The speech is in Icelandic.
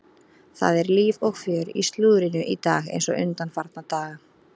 Það er líf og fjör í slúðrinu í dag eins og undanfarna daga.